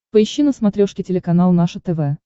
поищи на смотрешке телеканал наше тв